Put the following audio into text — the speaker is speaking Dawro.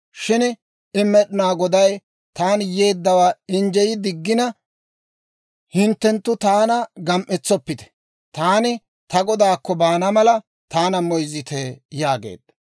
Shin I, «Med'inaa Goday taani yeeddawaa injjey diggina, hinttenttu taana gam"etsoppite; taani ta godaakko baana mala taana moyzzite» yaageedda.